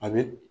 A bɛ